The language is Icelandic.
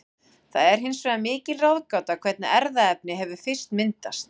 Það er hins vegar mikil ráðgáta hvernig erfðaefni hefur fyrst myndast.